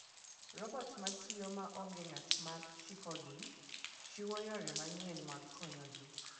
Robot ma tiyo maonge ng'at ma chikogi, chiwo yore manyien mag konyo ji.